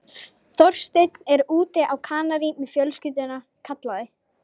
Þorsteinn er úti á Kanarí með fjölskylduna- kallaði